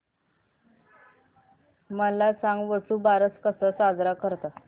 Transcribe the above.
मला सांग वसुबारस कसा साजरा करतात